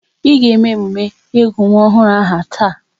Ị ga eme emume ịgụ nwa ọhụrụ aha taa!